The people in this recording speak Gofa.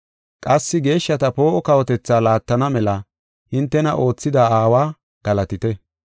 Qassi geeshshata poo7o kawotethaa laattana mela hintena oothida Aawa galatite.